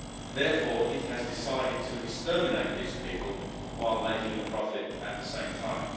Therefore, it has decided to exterminate these people while making a profit at the same time.